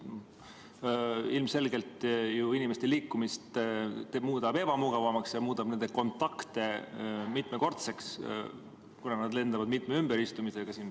Ilmselgelt muudab see ju inimeste liikumise ebamugavamaks ja nende kontakte mitmekordseks, kuna nad lendavad mitme ümberistumisega.